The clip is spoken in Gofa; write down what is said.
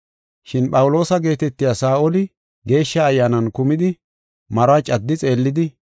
Shin Phawuloosa geetetiya Saa7oli Geeshsha Ayyaanan kumidi maruwa caddi xeellidi,